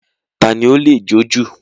Tani ó lè jọ̀ jú?